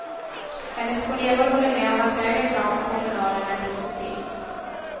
Hennes kollegor håller med om att högre krav på personalen är positivt.